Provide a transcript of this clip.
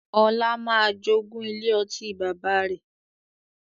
Ọlá máa jogún ilé ọtí bàbá rẹ̀